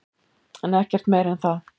En ekkert meira en það.